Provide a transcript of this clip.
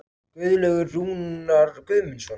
Guðlaugur Rúnar Guðmundsson.